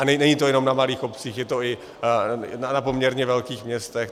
A není to jenom na malých obcích, je to i na poměrně velkých městech.